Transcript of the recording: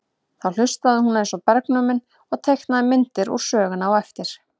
Þá hlustaði hún eins og bergnumin og teiknaði myndir úr sögunni á eftir.